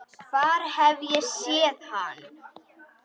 Hvar hef ég séð hann?